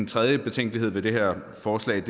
tredje betænkelighed ved det her forslag